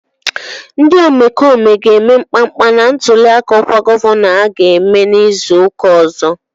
Ndị omekome ga-eme mkpamkpa na ntụliaka ọkwa gọvanọ aga eme izu ụka ọzọ.